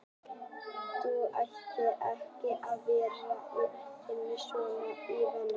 Þú ættir ekki að vera að reyna að stofna til vandræða